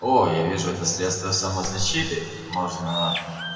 о я вижу это средство самозащиты можно